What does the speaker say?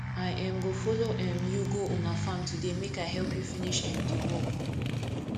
i um go folo um you go una farm today make i help you finish um di work